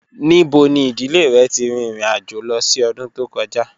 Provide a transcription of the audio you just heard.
Nibo ni idile rẹ ti rin irin-ajo lọ si ọdun to kọja?